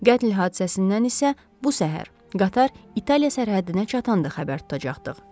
Qətl hadisəsindən isə bu səhər qatar İtaliya sərhədinə çatanda xəbər tutacaqdıq.